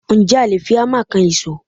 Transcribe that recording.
Ǹjẹ́ a lè fi Hámà kan ìṣó?